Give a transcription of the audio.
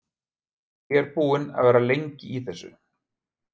Ég er búinn að vera það lengi í þessu.